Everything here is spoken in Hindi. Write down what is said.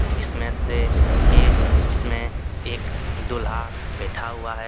जिसमे से ए जिसमे एक दुल्हा बैठा हुआ है।